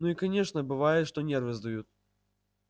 ну и конечно бывает что нервы сдают